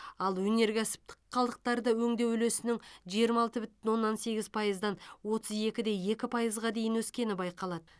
ал өнеркәсіптік қалдықтарды өңдеу үлесінің жиырма алты бүтін оннан сегіз пайыздан отыз екі де екі пайызға дейін өскені байқалады